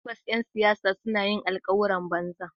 Tabbas ’yan siyasa wani lokaci suna yin alkawuran banza.